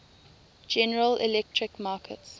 general electric markets